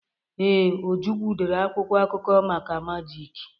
Ee, Ojukwu dere akwụkwọ akụkọ maka majịk.